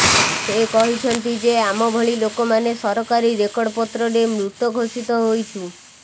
ସେ କହିଛନ୍ତି ଯେ ଆମ ଭଳି ଲୋକମାନେ ସରକାରୀ ରେକର୍ଡ଼ପତ୍ରରେ ମୃତ ଘୋଷିତ ହୋଇଛୁ